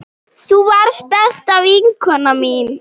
Þú varst besta vinkona mín.